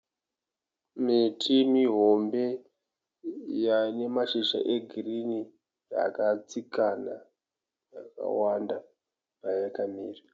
Miti mihombe ine mashizha egirini yakatsikana yakawanda payakamira.